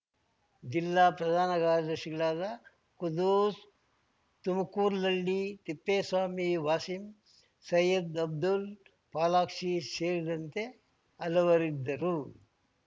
ಜಿಲ್ಲಾ ಪ್ರಧಾನ ಕಾರ್ಯದರ್ಶಿಗಳಾದ ಖುದ್ದೂಸ್‌ ತುಮಕೂರ್ಲಹಳ್ಳಿ ತಿಪ್ಪೇಸ್ವಾಮಿ ವಾಸೀಂ ಸೈಯ್ಯದ್‌ ಅಬ್ದುಲ್‌ ಪಾಲಾಕ್ಷಿ ಸೇರಿದಂತೆ ಹಲವರಿದ್ದರು